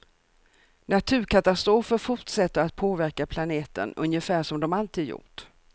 Naturkatastrofer fortsätter att påverka planeten ungefär som de alltid gjort.